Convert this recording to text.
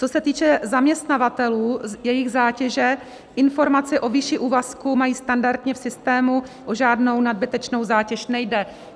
Co se týče zaměstnavatelů, jejich zátěže, informaci o výši úvazku mají standardně v systému, o žádnou nadbytečnou zátěž nejde.